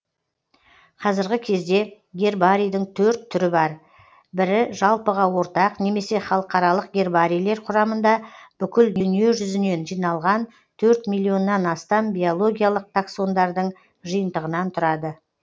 қазіргі кезде гербарийдің төрт түрі бар бірі жалпыға ортақ немесе халықаралық гербарийлер құрамында бүкіл дүние жүзінен жиналған төрт миллионнан астам биологиялық таксондардың жиынтығынан тұрады